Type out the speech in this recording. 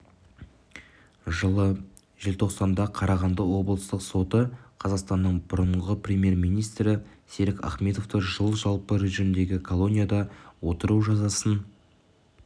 жылы желтоқсанда қарағанды облыстық соты қазақстанның бұрынғы премьер-министрі серік ахметовті жыл жалпы режимдегі колонияда отыру жазасын